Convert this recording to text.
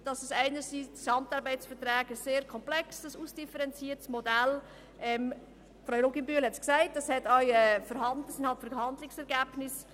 Einerseits gehören dazu die GAV als komplexes und ausdifferenziertes Modell mit Verhandlungsergebnissen, wie es Grossrätin Luginbühl geschildert hat.